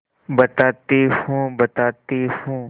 बताती हूँ बताती हूँ